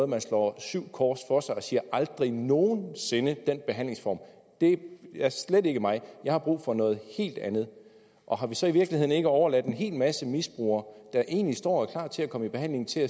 man slår syv kors for sig og siger aldrig nogen sinde den behandlingsform det er slet ikke mig jeg har brug for noget helt andet og har vi så i virkeligheden ikke overladt en hel masse misbrugere der egentlig står og er klar til at komme i behandling til